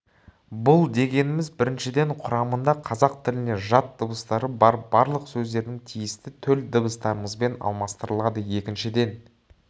бұл дегеніміз біріншіден құрамында қазақ тіліне жат дыбыстары бар барлық сөздердің тиісті төл дыбыстарымызбен алмастырылады екіншіден